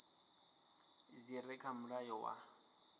dzi re kha mulayo wa